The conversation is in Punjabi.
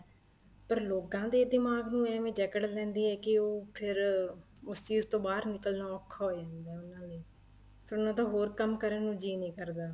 ਪਰ ਲੋਕਾਂ ਦੇ ਦਿਮਾਗ ਨੂੰ ਐਵੇ ਜੱਕੜ ਲੈਂਦੀ ਏ ਕੀ ਉਹ ਫ਼ਿਰ ਉਸ ਚੀਜ਼ ਤੋ ਬਾਹਰ ਨਿੱਕਲਣਾ ਔਖਾ ਹੋ ਜਾਂਦਾ ਏ ਉਹਨਾ ਲਈ ਉਹਨਾ ਦਾ ਹੋਰ ਕੰਮ ਕਰਨ ਲਈ ਜੀਅ ਨਹੀਂ ਕਰਦਾ